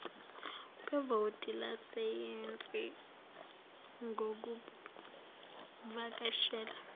kwevoti lesayensi ngokuvakashela